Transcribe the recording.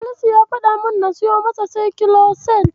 Salisu ya faɗa min na siyo masa Saikiloset.